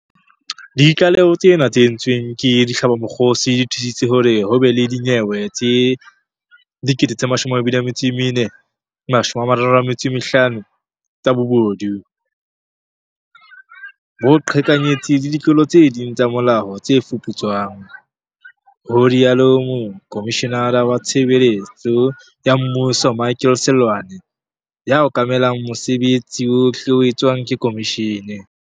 Ditlaleho tsena tse entsweng ke dihlabamokgosi di thusitse hore ho be le dinyewe tse 24 035 tsa bobodu, boqheka nyetsi le ditlolo tse ding tsa molao tse fuputswang, ho rialo Mokomishenara wa Tshebeletso ya Mmuso Michael Seloane, ya okamelang mosebetsi wohle o etswang ke khomishene.